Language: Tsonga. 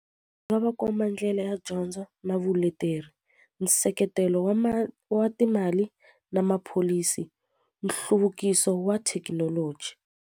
Nga va komba ndlela ya dyondzo na vuleteri nseketelo wa wa timali na mapholisi nhluvukiso wa thekinoloji.